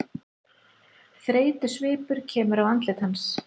Þreytusvipur kemur á andlit hans.